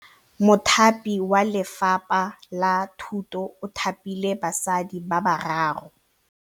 Mothapi wa Lefapha la Thutô o thapile basadi ba ba raro.